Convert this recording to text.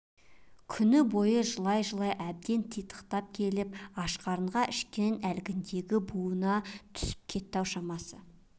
күн бойы жылай-жылай әбден титықтап келіп аш қарынға ішкен әлгіндегі буынына түсіп кетті-ау шамасы